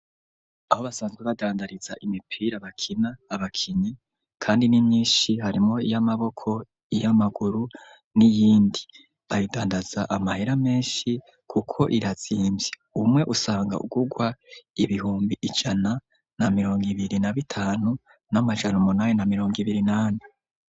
Aho basanzwe, bagandariza imipira, bakina abakinyi; kandi ni myinshi, harimwo iy'amaboko, iy'amaguru, n'iyindi; bayigandaza, amahera menshi, kuko irazimvye; umwe, usanga ugurwa, ibihumbi ijana, na mirongo ibiri, na bitanu, n'amajana umunani, na mirongo ibiri, n’ane.